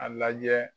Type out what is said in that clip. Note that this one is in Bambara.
A lajɛ